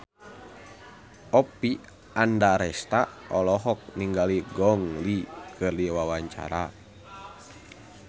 Oppie Andaresta olohok ningali Gong Li keur diwawancara